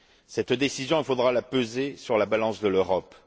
Cette décision, il faudra la peser sur la balance de l'Europe.